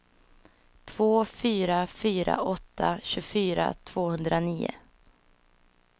två fyra fyra åtta tjugofyra tvåhundranio